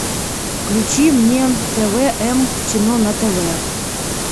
включи мне тв м кино на тв